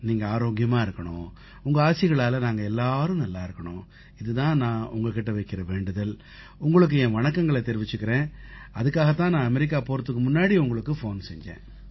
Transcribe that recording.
நீங்க ஆரோக்கியமா இருக்கணும் உங்க ஆசிகளால நாங்க எல்லாரும் நல்லா இருக்கணும் இது தான் நான் உங்க கிட்ட வைக்கற வேண்டுதல் உங்களுக்கு என் வணக்கங்களைத் தெரிவிச்சுக்கத் தான் நான் அமெரிக்கா போகறதுக்கு முன்னாடி உங்களுக்குப் ஃபோன் செஞ்சேன்